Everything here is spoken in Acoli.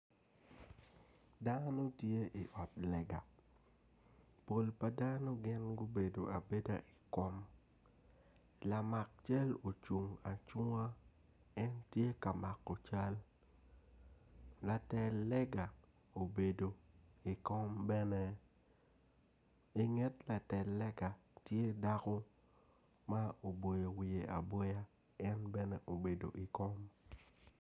Dako ma tye i ot lega pol pa dano gin gubedo abeda i kom lamak cal ocung acunga en tye ka mako cal latel lega obedo i kom bene inget latel lega tye dako ma oboyo wiye aboya en bene obedo i kom.